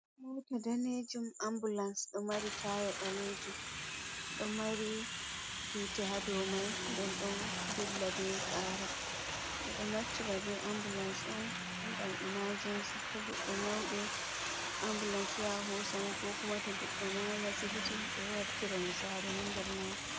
Moto danejum ambulanse do mari taya balejum do mari hite hado mai nden do dilla be qara bedo naftira be ambulanse on gam imajensi to goddo nyaudoo ambulansi ya hosamo kokuma to goddo mayi ha sibiti be wartira mo sare ha nder majun.